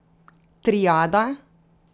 Triada?